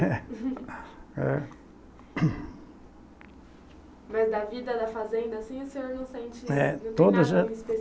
Mas da vida da fazenda, assim, o senhor não sente nada